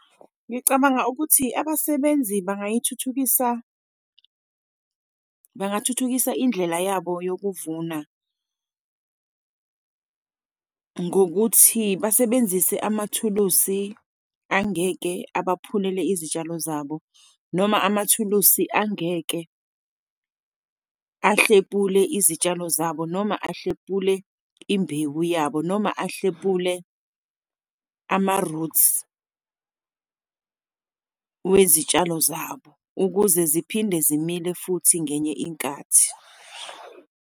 Ngicabanga ukuthi abasebenzi bangayithuthukisa, bangathuthukisa indlela yabo nokuvuna ngokuthi basebenzise amathulusi angeke abaphumelele izitshalo zabo, noma amathulusi angeke ahlebule izitshalo zabo, noma ahlebule imbewu yabo, noma ahlepule ama-roots wezitshalo zabo ukuze ziphinde zimile futhi ngenye inkathi.